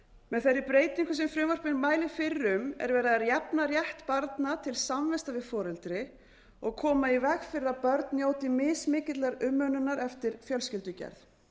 með þeirri breytingu sem frumvarpið mælir fyrir um er verið að jafna rétt barna til samvista við foreldri og koma í veg fyrir að börn njóti mismikillar umönnunar eftir fjölskyldugerð